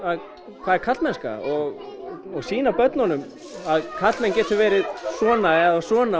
hvað er karlmennska og sýna börnunum að karlmenn geti verið svona og svona